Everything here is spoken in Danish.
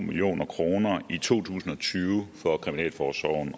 tusind